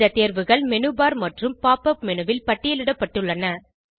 இந்த தேர்வுகள் menu bar மற்றும் pop உப் மேனு ல் பட்டியலிடப்பட்டுள்ளன